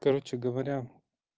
короче говоря